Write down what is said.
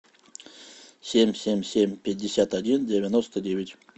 семь семь семь пятьдесят один девяносто девять